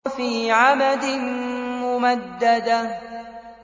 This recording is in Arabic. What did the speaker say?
فِي عَمَدٍ مُّمَدَّدَةٍ